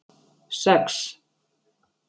sex